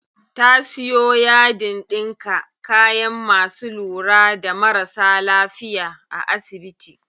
Ta siyo yadin ɗinka kayan masu lura da marasa lafiya a asibiti.